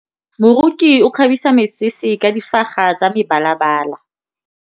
Moroki o kgabisa mesese ka difaga tsa mebalabala.